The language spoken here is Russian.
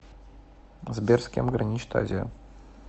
сбер с кем граничит азия